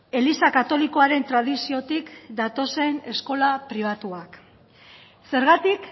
eliza katolikoaren tradiziotik datozen eskola pribatuak zergatik